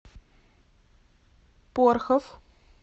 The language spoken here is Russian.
порхов